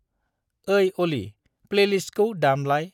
ओई अली प्लैलिस्तखौ दामलाय।